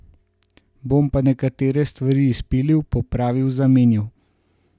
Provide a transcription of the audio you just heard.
Bom pa nekatere stvari izpilil, popravil, zamenjal.